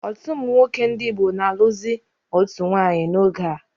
Ọtụtụ ụmụnwoke ndị Igbo na alụzi otu nwanyị n'oge a